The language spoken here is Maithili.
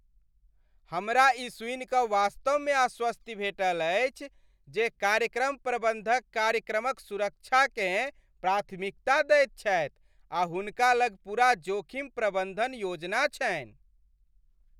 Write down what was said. हमरा ई सुनि कऽ वास्तवमे आश्वस्ति भेटल अछि जे कार्यक्रम प्रबन्धक कार्यक्रमक सुरक्षाकेँ प्राथमिकता दैत छथि आ हुनका लग पूरा जोखिम प्रबन्धन योजना छन्हि ।